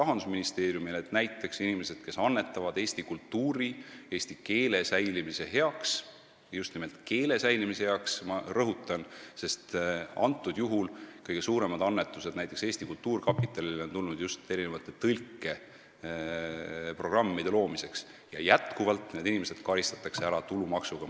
Näiteks, neid inimesi, kes annetavad eesti kultuuri, eesti keele säilimise heaks – rõhutan, et just nimelt keele säilimise heaks, sest kõige suuremad annetused Eesti Kultuurkapitalile on tulnud just tõlkeprogrammide loomiseks –, justkui karistatakse tulumaksuga.